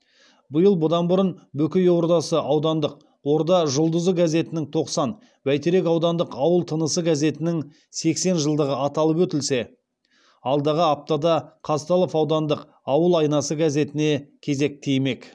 биыл бұдан бұрын бөкей ордасы аудандық орда жұлдызы газетінің тоқсан бәйтерек аудандық ауыл тынысы газетінің сексен жылдығы аталып өтілсе алдағы аптада қазталов аудандық ауыл айнасы газетіне кезек тимек